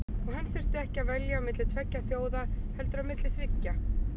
Og hann þurfti ekki að velja á milli tveggja þjóða heldur á milli þriggja.